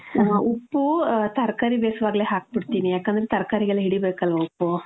ಹ , ಉಪ್ಪೂ, ತರ್ಕಾರಿ ಬೇಸುವಾಗ್ಲೆ ಹಾಕ್ಬಿಡ್ತೀನಿ. ಯಾಕಂದ್ರೆ ತರ್ಕಾರಿಗೆಲ್ಲ ಹಿಡಿಬೇಕಲ್ವ ಉಪ್ಪು?